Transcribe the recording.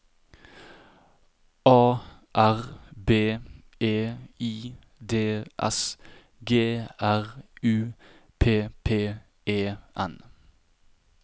A R B E I D S G R U P P E N